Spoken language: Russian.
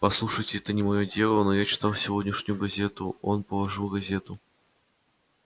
послушайте это не моё дело но я читал сегодняшнюю газету он положил газету